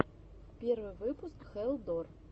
первый выпуск хэлл дор